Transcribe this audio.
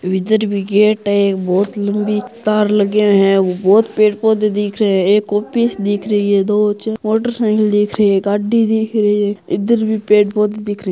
इधर भी गेट हैं एक बहुत लम्बी तार लगे है बहुत पेड़ पौधों दिख रहे है एक ऑफीस दिख रही है दो चार मोटर साईकिल दीख रही है गाड़ी दीख रही है इधर भी पेड़ पौधों दिख रहे --